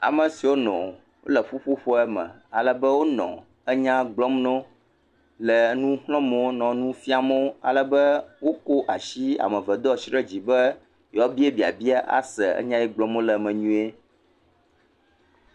Ame siwo nɔ wole ƒuƒoƒo me alebe wonɔ enya gblɔm nawo le enu xlɔm wo nɔ nu fiam wo alebe wokɔ asi ame eve do asi ɖe dzi be yewoabia babia ase nya si gblɔm wole me nyuie.